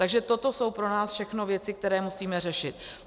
Takže toto jsou pro nás všechno věci, které musíme řešit.